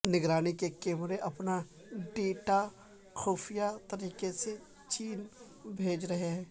نگرانی کے کیمرے اپنا ڈیٹا خفیہ طریقے سے چین بھیج رہے ہیں